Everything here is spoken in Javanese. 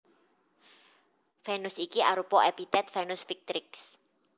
Venus iki arupa epitet Venus Victrix